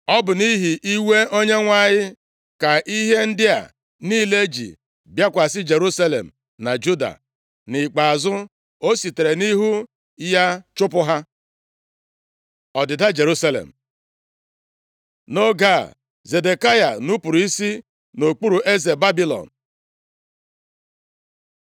Ọ bụ nʼihi iwe Onyenwe anyị ka ihe ndị a niile ji bịakwasị Jerusalem na Juda. Nʼikpeazụ, o sitere nʼihu ya chụpụ ha. Ọdịda Jerusalem Nʼoge a, Zedekaya nupuru isi nʼokpuru eze Babilọn. + 24:20 \+xt 2Ih 36:13; Izk 17:15.\+xt*